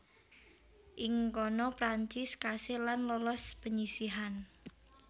Ing kono Prancis kasil lan lolos penyisihan